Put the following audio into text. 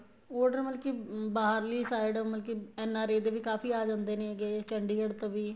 order ਮਤਲਬ ਕੀ ਬਾਹਰਲੀ side ਮਤਬਲ ਕੀ N R I ਦੇ ਵੀ ਕਾਫ਼ੀ ਆ ਜਾਂਦੇ ਨੇ ਗਏ ਚੰਡੀਗੜ੍ਹ ਤੋਂ ਵੀ